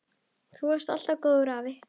Þú varst alltaf góður afi.